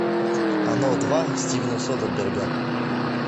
оно два стивена содерберга